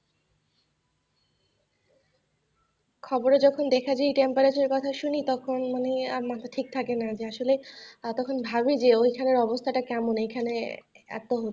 খবরে যখন দেখছি temperature এর কথা শুনি তখন মানে আর মাথা ঠিক থাকে না, যে আসলে তখন ভাবি ওই খানের অবস্থাটা কেমন, এইখানে এত হচ্ছে।